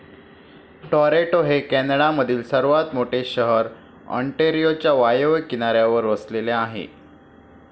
Toronto हे कॅनडामधील सर्वात मोठे शहर ऑन्टारियोच्या वायव्य किनाऱ्यावर वसले आहे.